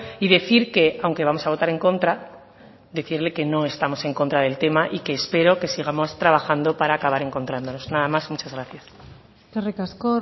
y decir que aunque vamos a votar en contra decirle que no estamos en contra del tema y que espero que sigamos trabajando para acabar encontrándonos nada más muchas gracias eskerrik asko